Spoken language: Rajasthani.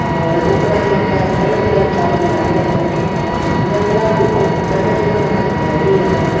और उपरानी आंके बल्ब बल्ब सा क भी लागेड़ा लाइटिंग और सुन्दर क्लास भी बहुत सुन्दर तरीके हु आंके सजायोडी है आमने।